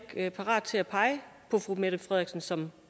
er parat til at pege på fru mette frederiksen som